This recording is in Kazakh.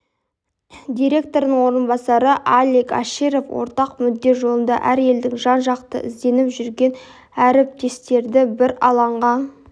директорының орынбасары алик аширов ортақ мүдде жолында әр елде жан-жақты ізденіп жүрген әріптестерді бір алаңға